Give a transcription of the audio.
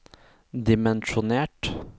dimensjonert